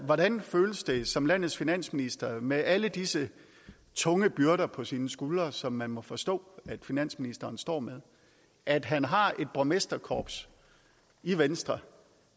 hvordan føles det som landets finansminister med alle disse tunge byrder på sine skuldre som man må forstå at finansministeren står med at han har et borgmesterkorps i venstre